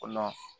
O la